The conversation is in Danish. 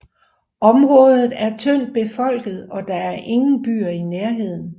Området er tyndt befolket og der er ingen byer i nærheden